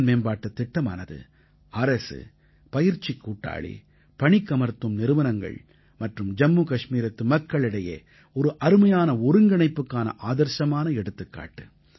திறன்மேம்பாட்டுத் திட்டமானது அரசு பயிற்சிக் கூட்டாளி பணிக்கமர்த்தும் நிறுவனங்கள் மற்றும் ஜம்மு கஷ்மீரத்து மக்களுக்கிடையே ஒரு அருமையான ஒருங்கிணைப்புக்கான ஆதர்ஸமான எடுத்துக்காட்டு